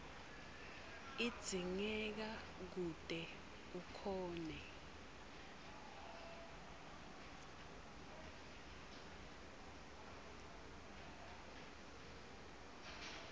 idzingeka kute ukhone